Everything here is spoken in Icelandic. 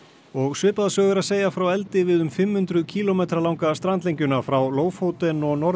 og svipaða sögu er að segja frá eldi við um fimm hundruð kílómetra langa strandlengjuna frá Lofoten og norður